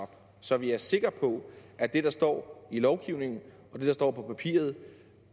så vi er sikre på at det der står i lovgivningen og det der står på papiret